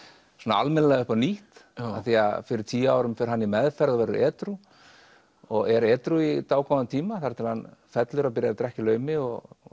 almennilega upp á nýtt af því að fyrir tíu árum fer hann í meðferð og verður edrú og er edrú í dágóðan tíma þar til hann fellur og byrjar að drekka í laumi og